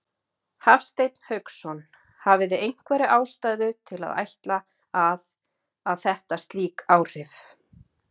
Hafsteinn Hauksson: Hafið þið einhverja ástæðu til að ætla að, að þetta slík áhrif?